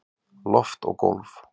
Loft og gólf